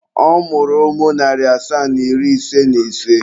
Ọ mụrụ ụmụ narị asaa na iri ise na ise.